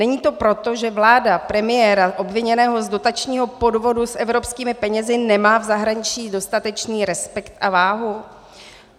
Není to proto, že vláda premiéra obviněného z dotačního podvodu s evropskými penězi nemá v zahraničí dostatečný respekt a váhu?